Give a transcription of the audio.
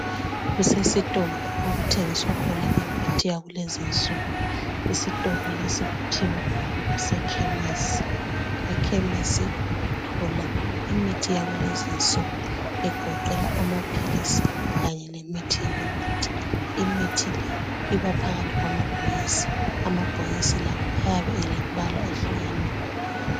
Kusesitolo okuthengiswa khona imithi yakulezi insuku. Isitolo lesi Kuthiwa kusekhemisi. Ekhemisi uthola imithi yakulezi insuku egoqela amaphilisi kanye lemithi yomuthi wokunatha. Imithi le ibaphakathi kwamabhokisi. Amabhokisi la ayabe elembala eyehlukeneyo.